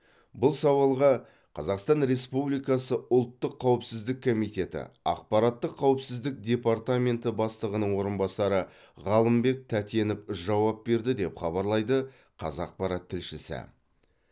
бұл сауалға қазақстан республикасы ұлттық қауіпсіздік комитеті ақпараттық қауіпсіздік департаменті бастығының орынбасары ғалымбек тәтенов жауап берді деп хабарлайды қазақпарат тілшісі